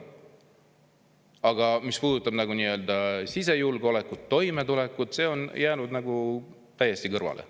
Aga mis puudutab sisejulgeolekut ja toimetulekut, siis see kõik on jäänud täiesti kõrvale.